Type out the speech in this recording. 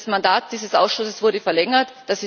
Das Mandat dieses Ausschusses wurde verlängert.